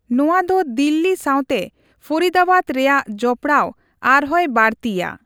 ᱱᱚᱣᱟ ᱫᱚ ᱫᱤᱞᱞᱤ ᱥᱟᱣᱛᱮ ᱯᱷᱚᱨᱤᱫᱟᱵᱟᱫᱽ ᱨᱮᱭᱟᱜ ᱡᱚᱯᱲᱟᱣ ᱟᱨᱦᱚᱸᱭ ᱵᱟᱹᱲᱛᱤᱭᱟ ᱾